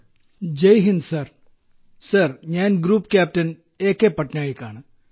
group captain ജയ്ഹിന്ദ് sir sir ഞാൻ group captain A K Patnaik ആണ്